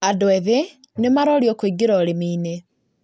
Andũ ethĩ nĩmarorio kũingĩra ũrĩmi-inĩ